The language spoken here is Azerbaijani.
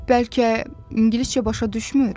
Bəlkə ingiliscə başa düşmür?